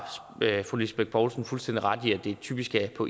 fru lisbeth bech poulsen fuldstændig ret i at det typisk er på